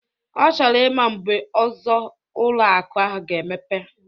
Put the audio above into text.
Ọ chọrọ ịma mgbe ọzọ ụlọ akụ ahụ ga-emepe?